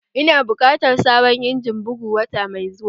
Ina bukatar sabon injimin bugu wata mai zuwa